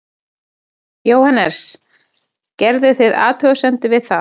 Jóhannes: Gerðuð þið athugasemdir við það?